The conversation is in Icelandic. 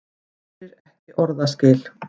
Heyrir ekki orðaskil.